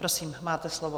Prosím, máte slovo.